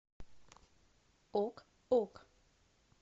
ок ок